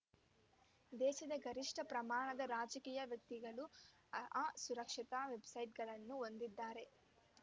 ದೇಶದ ಗರಿಷ್ಠ ಪ್ರಮಾಣದ ರಾಜಕೀಯ ವ್ಯಕ್ತಿಗಳು ಅ ಸುರಕ್ಷತಾ ವೆಬ್‌ಸೈಟ್‌ಗಳನ್ನು ಹೊಂದಿದ್ದಾರೆ